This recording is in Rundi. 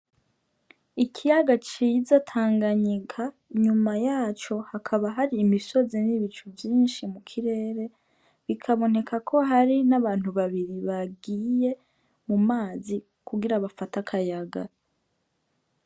Ikiyaga ciza Tanganyika inyuma yaco hakaba hari imisozi n' ibicu vyinshi mu kirere, bikaboneka ko ari n' abantu babiri bagiye mu mazi kugira bafate akayaga.